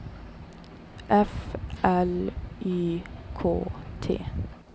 F L Y K T